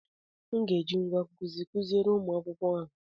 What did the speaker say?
M ga-eji ngwá nkụzi kụziere ụmụ akwụkwọ ahụ.